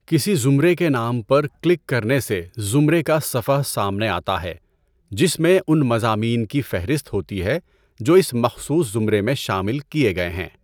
کسی زمرے کے نام پر کلک کرنے سے زمرے کا صفحہ سامنے آتا ہے جس میں ان مضامین کی فہرست ہوتی ہے جو اس مخصوص زمرے میں شامل کیے گئے ہیں۔